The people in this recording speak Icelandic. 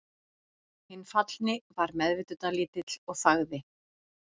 Hinn fallni var meðvitundarlítill og þagði.